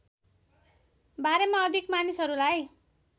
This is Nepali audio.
बारेमा अधिक मानिसहरूलाई